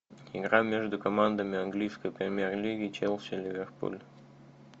игра между командами английской премьер лиги челси ливерпуль